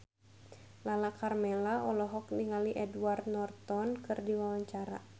Lala Karmela olohok ningali Edward Norton keur diwawancara